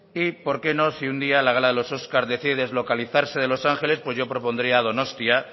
y por qué no si un día la gala de los oscar decide deslocalizarse de los ángeles pues yo propondría donostia